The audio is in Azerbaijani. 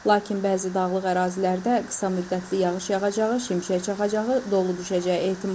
Lakin bəzi dağlıq ərazilərdə qısa müddətli yağış yağacağı, şimşək çaxacağı, dolu düşəcəyi ehtimalı var.